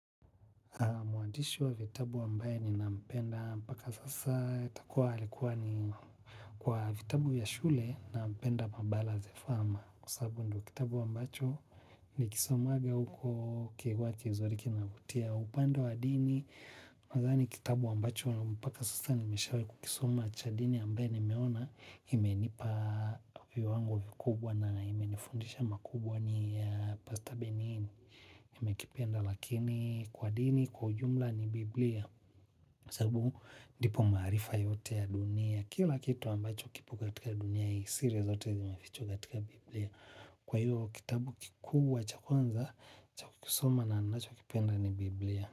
Mwandishi wa vitabu ambaye ninampenda mpaka sasa itakuwa alikuwa ni kwa vitabu vya shule nampenda pambanas the farmer. Kwa sababu ndio kitabu ambacho nikisomaga huko kiswahili zilizoriki kinavutia upande wa dini. Nadhani kitabu ambacho mpaka sasa nimeshawai kukisoma cha dini ambaye nimeona. Imenipa viwango vikubwa na imenifundisha makubwa ni pasta benini. Nimekipenda lakini kwa dini kwa ujumla ni Biblia sababu ndipo maarifa yote ya dunia. Kila kitu ambacho kipo katika dunia hisia zote zimefichwa katika Bibilia. Kwa hivo kitabu kikubwa cha kwanza cha kusoma na ninachokipenda ni Bibilia.